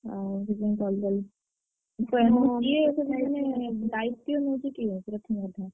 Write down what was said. ଦାୟିତ୍ଵ ନଉଚି କିଏ ଏଥର ?